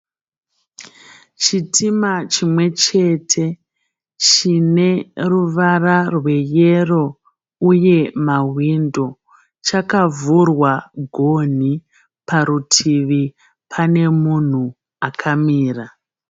Chitima chimwe chete chine ruvara rweyero uye mahwindo. Chakavhurwa gonhi. Parutivi pane munhu akamira.